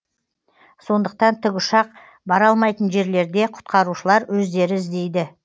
сондықтан тікұшақ бара алмайтын жерлерде құтқарушылар өздері іздейді